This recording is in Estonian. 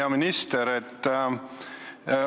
Hea minister!